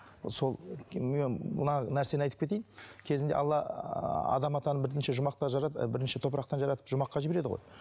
сол мына нәрсені айтып кетейін кезінде алла ыыы адам атаны бірінші жұмақта і бірінші топырақтан жаратып жұмаққа жібереді ғой